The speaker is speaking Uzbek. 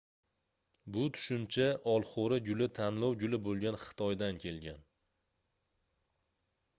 bu tushuncha olxoʻri guli tanlov guli boʻlgan xitoydan kelgan